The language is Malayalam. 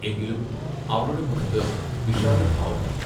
എങ്കിലും അവളുടെ മുഖത്ത് വിഷാദഭാവം വന്നു.